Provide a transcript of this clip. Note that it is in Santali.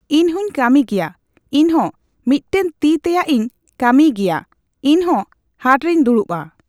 ᱤᱧᱦᱚᱧ ᱠᱟᱹᱢᱤ ᱜᱮᱭᱟ ᱤᱧᱦᱚᱸ ᱢᱤᱫ ᱴᱮᱱ ᱛᱤ ᱛᱮᱭᱟᱜ ᱤᱧ ᱠᱟᱹᱢᱤᱭ ᱜᱮᱭᱟ ᱤᱧᱦᱚᱸ ᱦᱟᱴᱨᱮᱧ ᱫᱩᱲᱩᱵᱼᱟ